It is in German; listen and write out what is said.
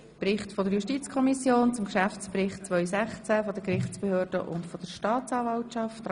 Es geht um den Bericht der JuKo zum Geschäftsbericht 2016 der Gerichtsbehörden und der Staatsanwaltschaft.